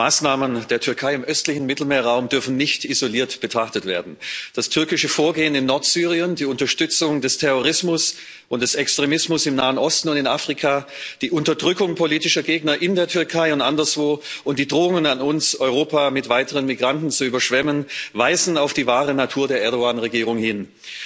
Die Maßnahmen der Türkei im östlichen Mittelmeerraum dürfen nicht isoliert betrachtet werden. Das türkische Vorgehen in Nordsyrien, die Unterstützung des Terrorismus und des Extremismus im Nahen Osten und in Afrika, die Unterdrückung politischer Gegner in der Türkei und anderswo und die Drohungen an uns, Europa mit weiteren Migranten zu überschwemmen, weisen auf die wahre Natur der Erdoğan Regierung hin.